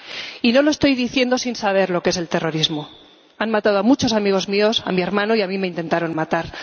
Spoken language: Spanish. Y no lo estoy diciendo sin saber lo que es el terrorismo han matado a muchos amigos míos, a mi hermano, y a mí me intentaron matar.